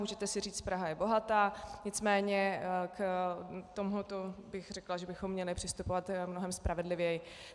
Můžete si říct Praha je bohatá, nicméně k tomuto bych řekla, že bychom měli přistupovat mnohem spravedlivěji.